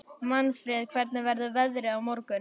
Manfreð, hvernig verður veðrið á morgun?